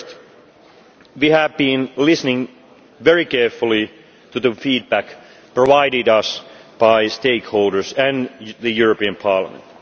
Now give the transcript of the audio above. First, we have been listening very carefully to the feedback provided to us by stakeholders and the European Parliament.